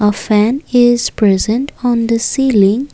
a fan is present on the ceiling.